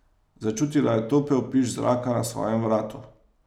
Začutila je topel piš zraka na svojem vratu.